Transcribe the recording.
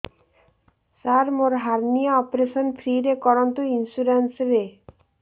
ସାର ମୋର hernia operation free ରେ କରନ୍ତୁ ଇନ୍ସୁରେନ୍ସ ରେ